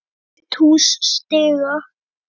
Fullt hús stiga.